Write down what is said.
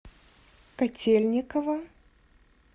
котельниково